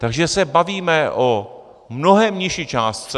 Takže se bavíme o mnohem nižší částce.